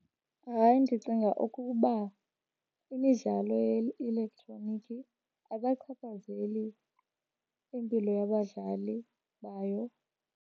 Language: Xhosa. Hayi, ndicinga ukuba imidlalo ye-elektroniki akachaphazeli impilo yabadlali bayo.